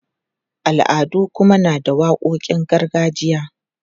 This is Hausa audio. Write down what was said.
Al'adu kuma na da waƙoƙin gargajiya.